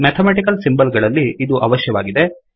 mathematical symbol ಗಳಲ್ಲಿ ಇದು ಅವಶ್ಯವಾಗಿದೆ